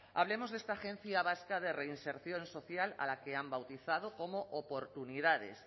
hablemos de esta agencia vasca de reinserción social a la que han bautizado como oportunidades